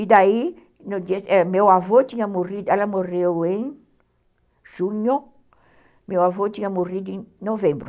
E daí, meu avô tinha morrido, ela morreu em junho, meu avô tinha morrido em novembro.